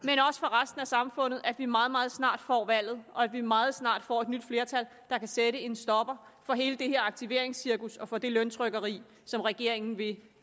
resten af samfundet at vi meget meget snart får valget og at vi meget snart får et nyt flertal der kan sætte en stopper for hele det her aktiveringscirkus og for det løntrykkeri som regeringen vil